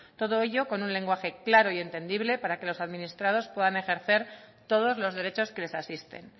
todo ello con un lenguaje claro y entendible para que los administrados puedan ejercer todos los derechos que les asisten